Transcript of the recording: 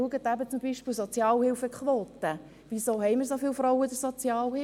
Schauen Sie zum Beispiel die Sozialhilfequote an: Wieso haben wir so viele Frauen bei der Sozialhilfe?